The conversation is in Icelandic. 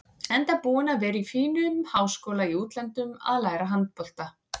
Enda búinn að vera í fínum háskóla í útlöndum að læra handbolta.